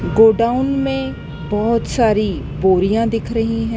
Godown में बहुत सारी बोरियां दिख रही हैं।